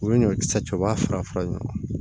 U bɛ ɲɔkisɛ cɛba fara fara ɲɔgɔn kan